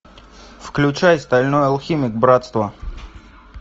включай стальной алхимик братство